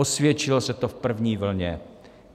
Osvědčilo se to v první vlně.